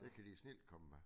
Det kan de snildt komme med